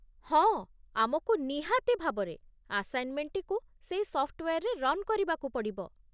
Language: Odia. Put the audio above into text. ହଁ, ଆମକୁ ନିହାତି ଭାବରେ ଆସାଇନ୍‌ମେଣ୍ଟଟିକୁ ସେଇ ସଫ୍ଟୱେୟାର୍ରେ ରନ୍ କରିବାକୁ ପଡ଼ିବ ।